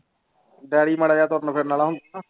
Daddy ਮਾੜਾ ਜਿਹਾ ਤੁਰਨ ਫਿਰਨ ਵਾਲਾ ਹੁੰਦਾ ਨਾ।